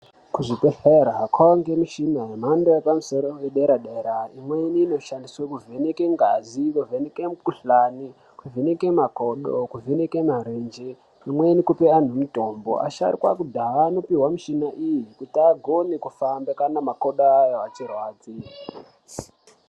Kuzvibhehlera kwanemishina yemhando yepamusoro yederadera imweni inoshandiswa kuvheneke ngazi, kuvheneke mukhuhlane, kuvheneke makodo, kuvheneke marenje imweni kuoa antu mitombo. Asharukwa ekudhaya anopihwa mushina iyi kuti agone kufamba kana makodo avo achirwadza.